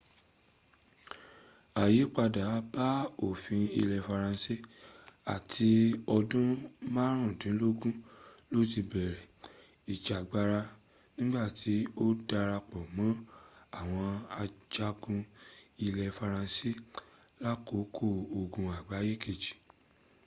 àyípadà bá òfin ilẹ faransé à ti ọdún márùndínlógún ló ti bẹ̀rẹ̀ ìjàgbara nígbà tí ó darápọ̀ mọ́ àwọn ajagun ilẹ̀ faransé lákòókò ogun àgbáyé kejì